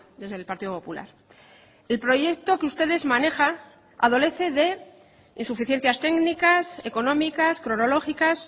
desde el partido popular el proyecto que ustedes manejan adolece de insuficiencias técnicas económicas cronológicas